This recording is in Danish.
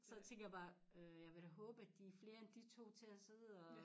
Så tænkte jeg bare øh jeg vil da håbe de da flere end de 2 til at sidde og